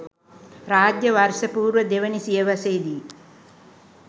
රාජ්‍ය වර්ෂ පූර්ව දෙවැනි සියවසේ දී